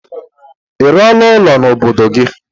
Ị rụọla ụlọ n'obodo gị?